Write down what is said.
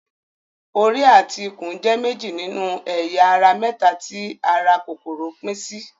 Orí àti ikùn jẹ́ méjì nínú ẹ̀yà ara mẹ́ta tí ara kòkòrò pín sí.